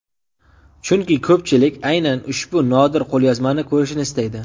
Chunki ko‘pchilik aynan ushbu nodir qo‘lyozmani ko‘rishni istaydi.